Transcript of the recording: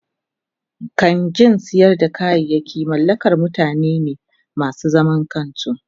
kangin sayar da kayayaki mallakar mutane ne masu zaman kansu.